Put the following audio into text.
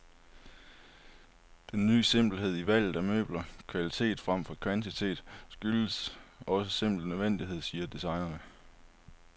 Den ny simpelhed i valget af møbler, kvalitet fremfor kvantitet, skyldes også simpel nødvendighed, siger designerne.